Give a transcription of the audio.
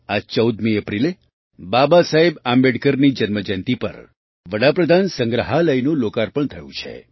આ ૧૪ એપ્રિલે બાબાસાહેબ આંબેડકરની જન્મજયંતી પર પ્રધાનમંત્રીસંગ્રહાલયનું લોકાર્પણ થયું છે